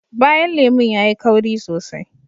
Bayan lemun yayi kauri sosai